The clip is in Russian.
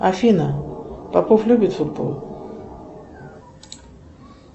афина попов любит футбол